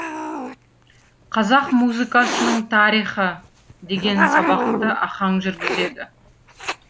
қазақ музыкасының тарихы деген сабақты ахаң жүргізеді